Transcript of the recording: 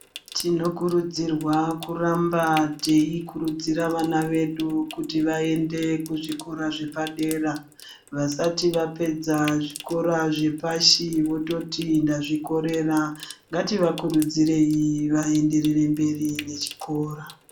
Tinokurudzirwa kuramba teikurudzira vana vedu kuti vaende kuzvikora zvepadera, vasati vapedza zvikora zvepashi vototi ndazvikorera. Ngativakurudzirei vaenderere mberi nechikora.